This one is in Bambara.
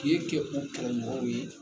K'i e kɛ o kɛlɛmɔgɔw ye